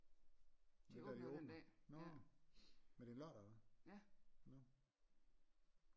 De åbner den dag ja